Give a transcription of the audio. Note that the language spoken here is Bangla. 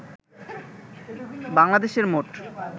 বাংলাদেশের মোট